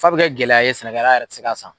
Fa bɛ kɛ gɛlɛya ye sɛnɛkɛla yɛrɛ tɛ se ka san.